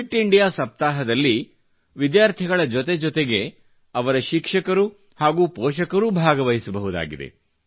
fit India ಸಪ್ತಾಹದಲ್ಲಿ ವಿದ್ಯಾರ್ಥಿಗಳ ಜೊತೆಜೊತೆಗೆ ಅವರ ಶಿಕ್ಷಕರು ಹಾಗೂ ಪೋಷಕರೂ ಭಾಗವಹಿಸಬಹುದಾಗಿದೆ